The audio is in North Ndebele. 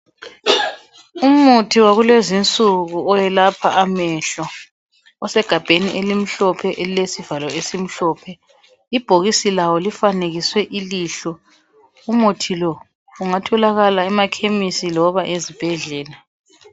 Umuthi wakulezinsuku owelapha amehlo. Osegabheni elimhlophe elilesivalo esimhlophe. Ibhokisi lawo lifanekiswe ilihlo. Umuthi lo ungatholakala emakhemisi loba ezibhedlela.